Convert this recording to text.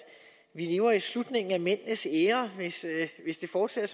vi lever i slutningen af mændenes æra hvis det fortsætter